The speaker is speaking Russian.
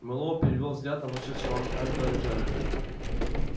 мэллоу перевёл взгляд на вошедшего анкора джаэля